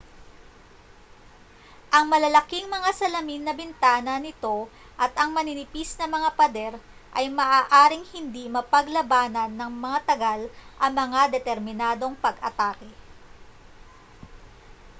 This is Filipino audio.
ang malalaking mga salamin na bintana nito at ang maninipis na mga pader ay maaaring hindi mapaglabanan nang matagal ang mga determinadong pag-atake